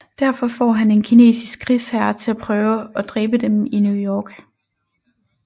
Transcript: Derfor får han en kinesisk krigsherre til at prøve å dræbe dem i New York